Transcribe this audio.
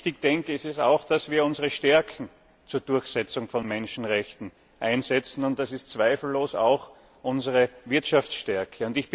Und wichtig ist es auch, dass wir unsere Stärke zur Durchsetzung von Menschenrechten einsetzen, und das ist zweifellos auch unsere Wirtschaftsstärke.